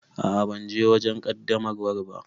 A'a ban je wajen qaddamarwar ba.